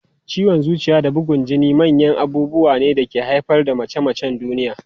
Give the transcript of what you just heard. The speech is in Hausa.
Ciwon zuciya da bugun jini manyan abubuwa ne da ke haifar da mace-macen duniya.